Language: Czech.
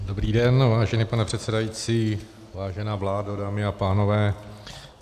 Dobrý den, vážený pane předsedající, vážená vládo, dámy a pánové.